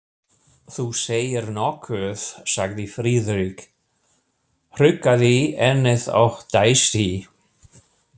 Þú segir nokkuð, sagði Friðrik, hrukkaði ennið og dæsti.